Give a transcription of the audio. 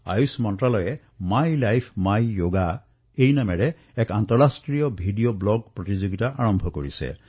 আয়ুষ মন্ত্ৰালয়ে my life my yoga শীৰ্ষক এক আন্তঃৰাষ্ট্ৰীয় ভিডিঅ ব্লগৰ প্ৰতিযোগিতা আৰম্ভ কৰিছে